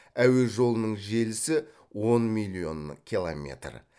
әуе жолының желісі он миллион километр